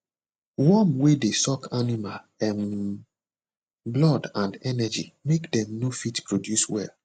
worm wer dey suck animal um blood and energy make dem no fit produce well